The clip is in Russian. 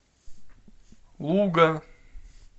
луга